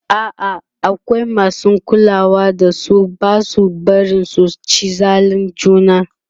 a'a akwai masu kulawa da su Basu barin su ci zalin juna